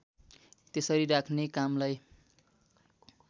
त्यसरी राख्ने कामलाई